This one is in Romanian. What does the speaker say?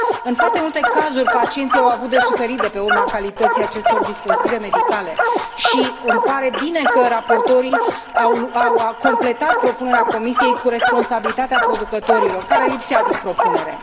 În foarte multe cazuri, pacienții au avut de suferit de pe urma calității acestor dispozitive medicale și îmi pare bine că raportorii au completat propunerea Comisiei cu responsabilitatea producătorilor, care lipsea din propunere.